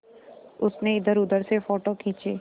उसने इधरउधर से फ़ोटो खींचे